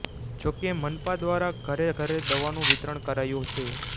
જો કે મનપા દ્વારા ઘરે ઘરે દવાનું વિતરણ કરાયુ છે